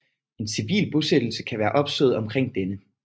En civil bosættelse kan være opstået omkring denne